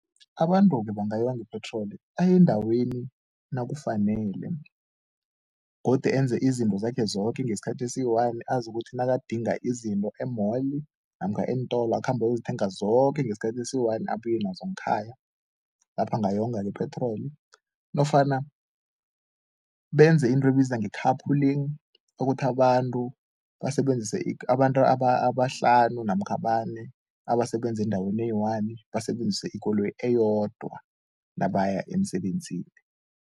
Abantu-ke bangayonga ipetroli, aye endaweni nakufanele godi enze izinto zakhe zoke ngesikhathi esiyi-one, azi ukuthi nakadinga izinto e-mall namkha eentolo akhambe ayozithenga zoke ngesikhathi esiyi-one, abuye nazo ngekhaya lapha angayonga ipetroli nofana benze into ebizwa nge-carpling, ukuthi abantu basebenzise abantu abahlanu namkha abane abasebenza endaweni eyi-one basebenzise ikoloyi eyodwa nabaya emsebenzini.